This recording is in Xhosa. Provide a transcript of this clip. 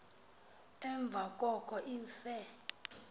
emva koko afe